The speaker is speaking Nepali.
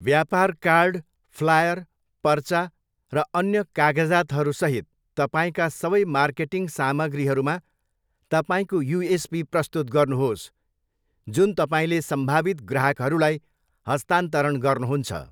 व्यापार कार्ड, फ्लायर, पर्चा, र अन्य कागजातहरूसहित तपाईँका सबै मार्केटिङ सामग्रीहरूमा तपाईँको युएसपी प्रस्तुत गर्नुहोस् जुन तपाईँले सम्भावित ग्राहकहरूलाई हस्तान्तरण गर्नुहुन्छ।